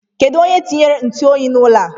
Kedụ onye tinyere ntụoyi n'ụlọ a?